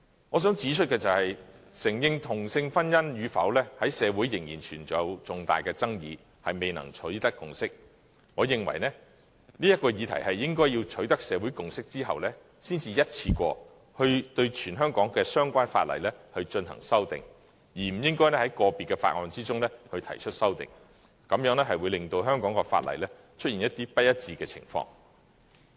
我想指出，承認同性婚姻與否在社會仍然存在重大的爭議，未能取得共識。我認為，應在這議題取得社會共識後，才一次過對全香港的相關法例進行修訂，而不應該在個別的法案中提出修訂，這會令香港的法例出現不一致的情況。